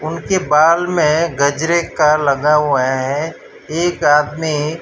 उनके बाल में गजरे का लगा हुआ है एक हाथ में--